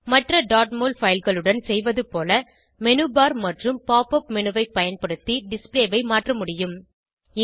மற்ற mol file களுடன் செய்வது போல மேனு பார் மற்றும் pop உப் மேனு ஐ பயன்படுத்தி டிஸ்ப்ளே ஐ மாற்ற முடியும்